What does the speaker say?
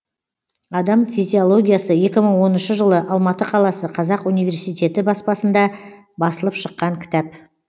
адам физиологиясы екі мың оныншы жылы алматы қаласы қазақ университеті баспасында басылып шыққан кітап